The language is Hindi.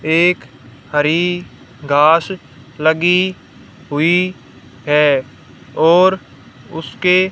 एक हरी घास लगी हुई है और उसके--